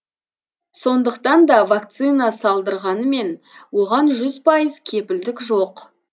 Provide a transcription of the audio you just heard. сондықтан да вакцина салдырғанмен оған жүз пайыз кепілдік жоқ